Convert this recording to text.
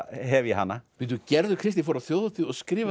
hef ég hana gerður Kristný fór á þjóðhátíð og skrifaði